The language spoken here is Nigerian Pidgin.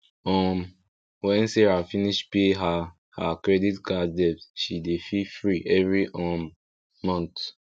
um when sarah finish pay her her credit card debt she dey feel free every um month